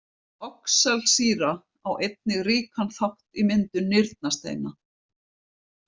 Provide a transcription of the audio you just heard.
Oxalsýra á einnig ríkan þátt í myndun nýrnasteina.